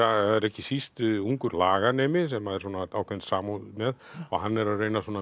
ekki síst ungur laganemi sem er svona ákveðin samúð með og hann er að reyna að